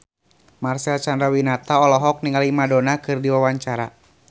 Marcel Chandrawinata olohok ningali Madonna keur diwawancara